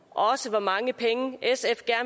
hvor mange penge sf